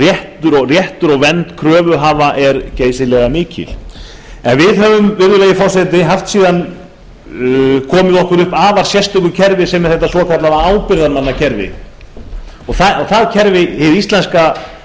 réttur og vernd kröfuhafa er geysilega mikil við höfum virðulegi forseti haft síðan komið okkur upp afar sérstöku kerfi sem er þetta svokallaða ábyrgðarmannakerfi og það kerfi hið íslenska á sér